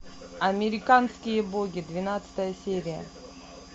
американские боги двенадцатая серия